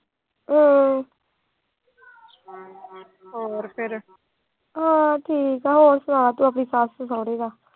ਹੋਰ ਤੂੰ ਸੁਣਾ ਆਪਣੇ ਸੱਸ ਸੋਹਰੇ ਦਾ।